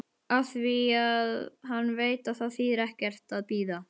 Afþvíað hann veit að það þýðir ekkert að bíða.